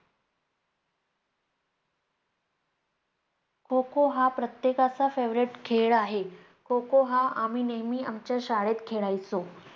खो खो हा प्रत्येकाचा favorite खेळ आहे. खो खो हा आम्ही नेहमी आमच्या शाळेत खेळायचो.